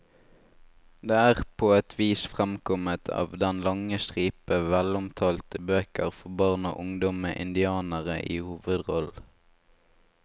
Det er på et vis fremkommet av den lange stripe velomtalte bøker for barn og ungdom med indianere i hovedrollen.